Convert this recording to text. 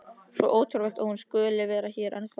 Svo ótrúlegt að hún skuli vera hér enn þá.